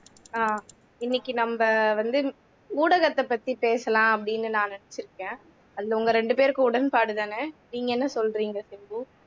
அஹ் இன்னைக்கு நம்ம வந்து ஊடகத்தை பத்தி பேசலாம் அப்படின்னு நான் நினைச்சிருக்கேன் அதுல உங்க இரண்டு பேருக்கும் உடன்பாடு தான